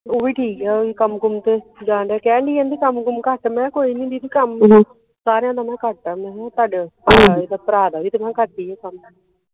ਓਵੀ ਠੀਕ ਆ ਓਵੀ ਕੰਮ ਕੁਮ ਤੇ ਜਾਂਦਿਆ ਕਹਿਣ ਦੀ ਹੀ ਕੰਮ ਕੁਮ ਘੱਟ ਮੈ ਕਿਹਾ ਕੋਈ ਨਹੀਂ ਦੀਦੀ ਕੰਮ ਸਾਰਿਆਂ ਦਾ ਮੈ ਕਿਹਾ ਘੱਟ ਆ ਮੈ ਕਿਹਾ ਤੁਹਾਡੇ ਵਾਲੇ ਭਰਾ ਦਾ ਵੀ ਤੇ ਮੈ ਕਿਹਾ ਘੱਟ ਈਆ ਕੰਮ।